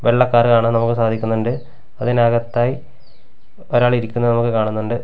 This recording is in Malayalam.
വെള്ള കാർ കാണാൻ നമുക്ക് സാധിക്കുന്നുണ്ട് അതിനകത്തായി ഒരാൾ ഇരിക്കുന്നത് നമുക്ക് കാണുന്നുണ്ട്.